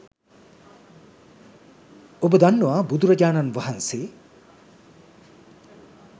ඔබ දන්නවා බුදුරජාණන් වහන්සේ